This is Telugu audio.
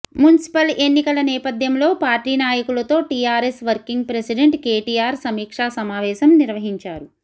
మున్సిపల్ ఎన్నికల నేపథ్యంలో పార్టీ నాయకులతో టీఆర్ఎస్ వర్కిగ్ ప్రెసిడెంట్ కేటీఆర్ సమీక్షా సమావేశం నిర్వహించారు